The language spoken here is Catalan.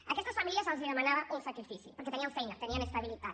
a aquestes famílies se’ls demanava un sacrifici perquè tenien feina tenien estabilitat